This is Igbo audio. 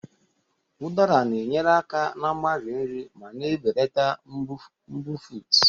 Udara na-enyere aka na mgbari nri ma na-ebelata mbufụt.